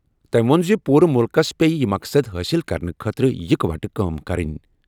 تٔمۍ ووٚن زِ پوٗرٕ مُلکَس پیٚیہِ یہِ مقصد حٲصِل کرنہٕ خٲطرٕ اِکہٕ وٹہٕ کٲم کرٕنۍ۔